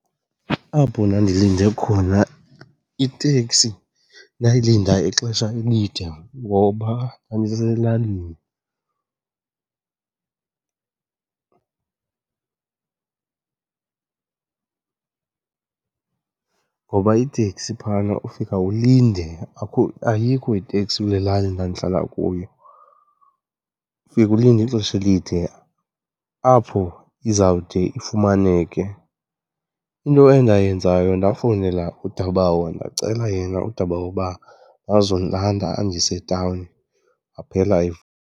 Apho ndandilinde khona iteksi ndayilinda ixesha elide ngoba ndandiselalini. Ngoba iiteksi phana ufike ulinde , ayikho iteksi kule lali ndandihlala kuyo, ufika ulinde ixesha elide apho izawude ifumaneke. Into endayenzayo ndafowunela udabawo ndacela yena udabawo uba azondilanda andise etawuni, waphela